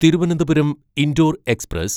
Thiruvananthapuram Indore express